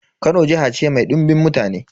Kano jiha ce mai dimbin mutane.